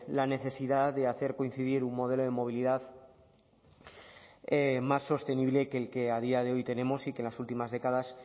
la necesidad de hacer coincidir un modelo de movilidad más sostenible que el que tenemos y que en las últimas décadas